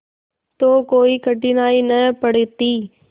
तो कोई कठिनाई न पड़ती